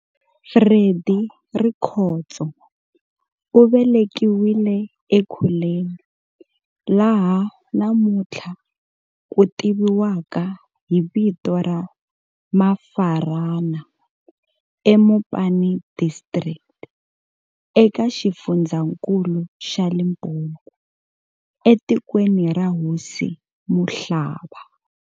Freddy Rikhotso u velekiwile eKeulen laha namuntlha ku tiviwaka hi vito ra Mafarana, eMopani Distric eka xifundzankulu xa Limpopo, etikweni ra Hosi Muhlaba.